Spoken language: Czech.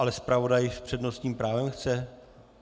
Ale zpravodaj s přednostním právem chce?